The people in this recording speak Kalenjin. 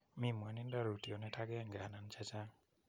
Mi mwanindo rootyonet agenge anan che chang'